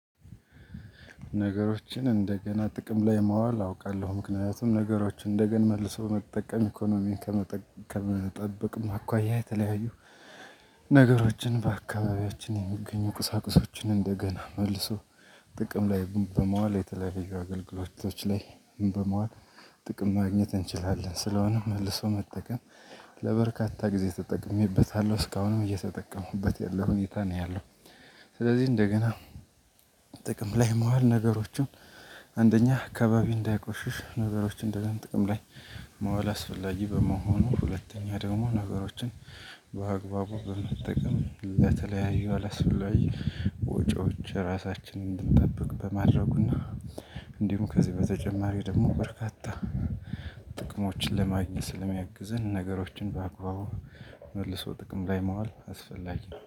ነገሮችን እንደገና ጥቅም ላይ ማዋል አውቃለሁ ምክንያቱም ነገሮችን እንደገና መልሶ መጠቀም ኢኮኖሚን ከመጠበቅም አኳያ የተለያዩ ነገሮችን በአካባቢያችን የሚገኙ ቅሳቅሶችን እንደገና መልሶ ጥቅም ላይ በመዋል የተለያዩ አገልግሎቶች ላይ በመዋል ጥቅም ማግኘት እንችላለን። ስለሆነም መልሶ መጠቀም ለበርካታ ጊዜ ተጠቅሜበታለሁ እስካሁንም እየተጠቀሙበት ያለው ሁኔታ ነው ያለው፤ ስለዚህ እንደገና ጥቅም ላይ መዋል ነገሮችን አንደኛ አካባቢ እንዳይቆሽሽ ነገሮችን ደግሞ ጥቅም ላይ መዋል አስፈላጊ በመሆኑ። ሁለተኛ ደግሞ ነገሮችን በአግባቡ በመጠቀም ለተለያዩ አላስፈላጊ ላይ ወጪዎች ራሳችንን እንድንጠብቅ በማድረጉና። እንዲሁም ከዚህ በተጨማሪ ደግሞ በርካታ ጥቅሞችን ለማግኘት ስለሚያግዝን ነገሮችን በአግባቡ መልሶ ጥቅም ላይ መዋል አስፈላጊ